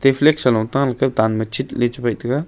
e flag sa lung ta le tanma chitle chabaih taiga.